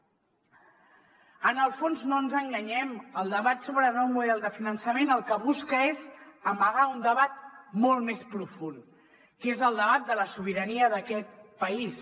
en el fons no ens enganyem el debat sobre el nou model de finançament el que busca és amagar un debat molt més profund que és el debat de la sobirania d’aquest país